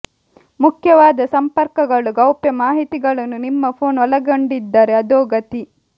ಮುಖ್ಯವಾದ ಸಂಪರ್ಕಗಳು ಗೌಪ್ಯ ಮಾಹಿತಿಗಳನ್ನು ನಿಮ್ಮ ಫೋನ್ ಒಳಗೊಂಡಿದ್ದರೆ ಅಧೋ ಗತಿ